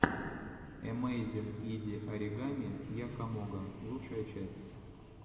эмэйзин изи оригами якомога лучшая часть